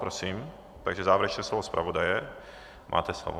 Prosím, takže závěrečné slovo zpravodaje, máte slovo.